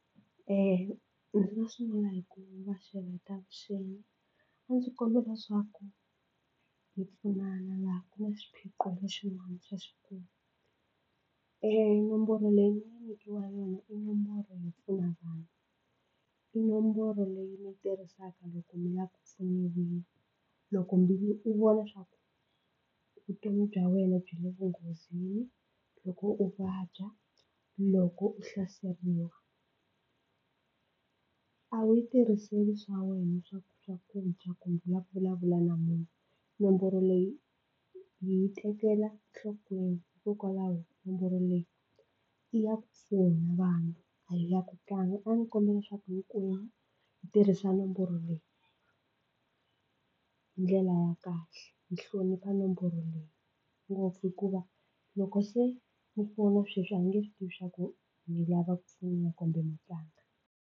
Eya ndzi nga sungula hi ku va xeweta avuxeni a ndzi kombela leswaku hi pfunana laha ku na xiphiqo lexin'wana xa xikulu e nomboro leyi mi nga nyikiwa yona i nomboro yo pfuna vanhu. I nomboro leyi mi yi tirhisaka loko mi lava ku pfuniwa, loko mi u vona swa ku vutomi bya wena byi le vunghozini, loko u vabya, loko u hlaseriwa a wu yi tirhiseli swa wena swa ku swakudya kumbe u la ku vulavula na munhu. Nomboro leyi hi yi tekela nhlokweni hikokwalaho nomboro leyi ya ku pfuna vanhu a hi ya ku tlanga a ni kombela leswaku hinkwenu hi tirhisa nomboro leyi hi ndlela ya kahle hi hlonipha nomboro leyi ngopfu hikuva loko se mi fona sweswi a hi nge swi tivi swa ku mi lava ku pfuniwa kumbe mo tlanga.